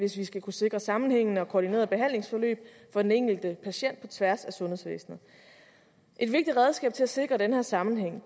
hvis vi skal kunne sikre sammenhængende og koordinerede behandlingsforløb for den enkelte patient på tværs af sundhedsvæsenet et vigtigt redskab til at sikre den her sammenhæng